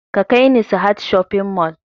Ka kai ni sahad shopping mall!